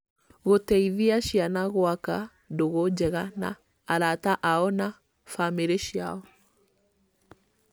Gũteithia ciana gwaka ndũgũ njega na arata ao na na bamĩrĩ ciao